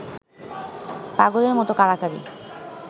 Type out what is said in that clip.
পাগলের মত কাড়াকাড়ি